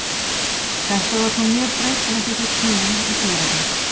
Þetta var þó mjög breytilegt eftir tímum og héruðum.